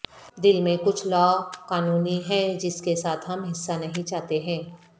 دل میں کچھ لاقانونی ہے جس کے ساتھ ہم حصہ نہیں چاہتے ہیں